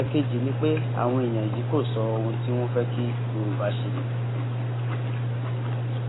ẹẹkejì ni pé àwọn èèyàn yìí kò sọ ohun tí wọn fẹ kí yorùbá ṣe